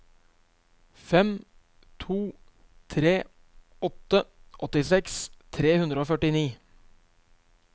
fem to tre åtte åttiseks tre hundre og førtini